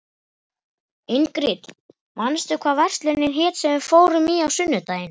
Ingrid, manstu hvað verslunin hét sem við fórum í á sunnudaginn?